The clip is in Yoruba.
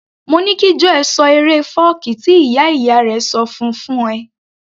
Mo ní kí Joel ṣọ eré fọ́ọ̀kí tí ìyá ìyá rẹ̀ ṣọ fún -un fún ẹ